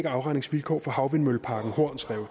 afregningsvilkår for havvindmølleparken horns rev